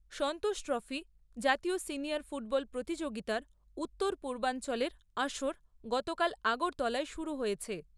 সন্তোষ trophy জাতীয় senior football প্রতিযোগিতার উত্তর পূর্বাঞ্চলের আসর গতকাল আগরতলায় শুরু হয়েছে।